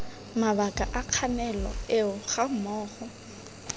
mabaka a kganelo eo gammogo